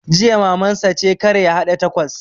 Jiya Maman sa ce kar ya haɗa takos!